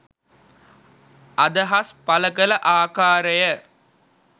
අදහස් පළ කළ ආකාරය